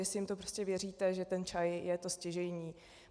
Jestli jim to prostě věříte, že ten čaj je to stěžejní.